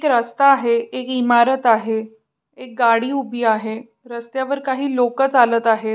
एक रस्ता आहे एक इमारत आहे एक गाडी उभी आहे रस्त्यावर काही लोक चालत आहेत.